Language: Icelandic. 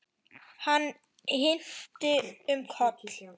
Hann hnyti um koll!